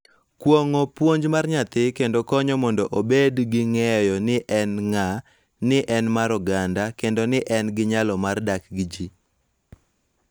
Kuong�o puonj mar nyathi kendo konyo mondo obed gi ng�eyo ni en ng�a, ni en mar oganda, kendo ni en gi nyalo mar dak gi ji.